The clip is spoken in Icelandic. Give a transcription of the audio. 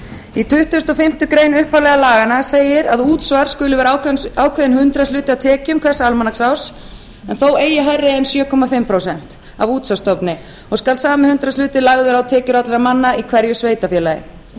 í tuttugasta og fimmtu grein upphaflegu laganna segir að útsvar skuli vera ákveðinn hundraðshluti af tekjum hvers almanaksárs en þó eigi hærri en sjö og hálft prósent af útsvarsstofni og skal sami hundraðshluti lagður á tekjur allra manna í hverju sveitarfélagi